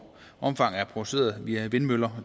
omfang er produceret via vindmøller